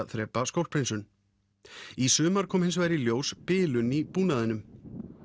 þrepa skólphreinsun í sumar kom hins vegar í ljós bilun í búnaðinum